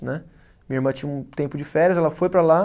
Né. Minha irmã tinha um tempo de férias, ela foi para lá.